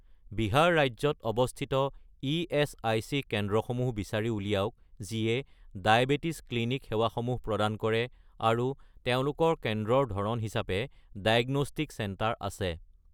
বিহাৰ ৰাজ্যত অৱস্থিত ইএচআইচি কেন্দ্ৰসমূহ বিচাৰি উলিয়াওক যিয়ে ডায়েবেটিছ ক্লিনিক সেৱাসমূহ প্ৰদান কৰে আৰু তেওঁলোকৰ কেন্দ্ৰৰ ধৰণ হিচাপে ডায়েগনষ্টিক চেণ্টাৰ আছে।